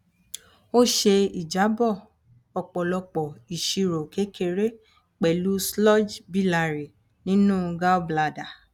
ó ṣe ìjábọ ọpọlọpọ ìṣirò kékeré pẹlú sludge biliary nínú gallbladder